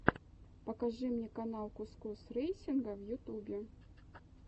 покажи мне канал кус кус рэйсинга в ютюбе